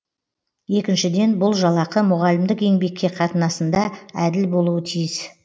екіншіден бұл жалақы мұғалімдік еңбекке қатынасында әділ болуы тиіс